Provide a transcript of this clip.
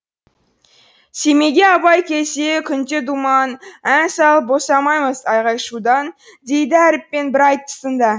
семейге абай келсе күнде думан ән салып босамаймыз айғай шудан дейді әріппен бір айтысында